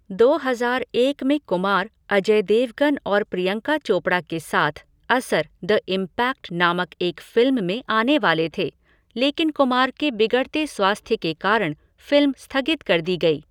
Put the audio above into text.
दो हज़ार एक में कुमार, अजय देवगन और प्रियंका चोपड़ा के साथ असर, द इम्पैक्ट नामक एक फ़िल्म में आने वाले थे, लेकिन कुमार के बिगड़ते स्वास्थ्य के कारण फ़िल्म स्थगित कर दी गई।